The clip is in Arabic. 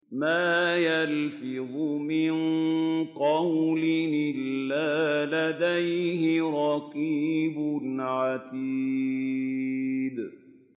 مَّا يَلْفِظُ مِن قَوْلٍ إِلَّا لَدَيْهِ رَقِيبٌ عَتِيدٌ